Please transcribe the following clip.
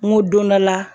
N ko don dɔ la